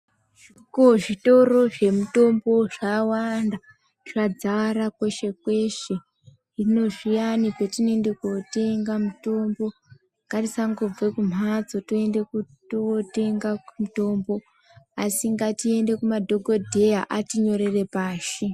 Zvitoro zvemitombo zvawanda, zvadzara kweshe kweshe hino zviyaani petinoende kotenga mitombo, ngatisangobve kumhatso, toende kutootenga mutombo, asi ngatiende kumadhokodheya atinyorere pashi.